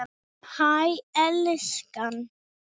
Hæ elskan!